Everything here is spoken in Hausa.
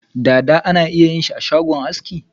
Dada ana iya yin shi ashagon aski.